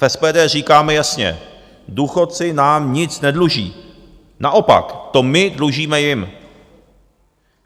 V SPD říkáme jasně: důchodci nám nic nedluží, naopak to my dlužíme jim.